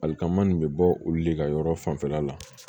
Alikama nin bɛ bɔ olu de ka yɔrɔ fanfɛla la